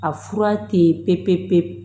A fura tɛ ye pe pe pe pe pe